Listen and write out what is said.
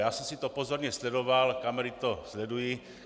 Já jsem si to pozorně sledoval, kamery to sledují.